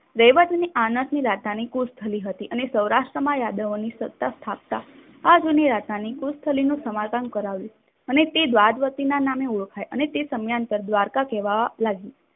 રૈવતને આનાથી રતાનીકોશ થાળી હતી અને સૌરાષ્ટ્રમાં યાદવોની સત્તા સ્થાપતા આ જૂની રાજધાની નું સમારકામ કરાવ્યું. અને તે દ્વારજવતીના નામર ઓળખાય અને તે સમયાંતરે દ્વારકા કહેવાવા લાગ્યું.